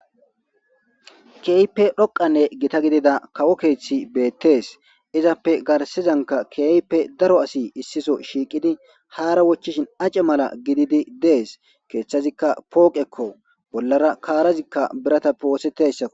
Keeype dhoqanne gita gidida kawo keeththi beettees izappe garsizanka keype daro asi issiso shiiqidi haara wochchishin ace mala gididi dees keeththazikka pooqekko bollara kaarazikka birata pooseteyssakko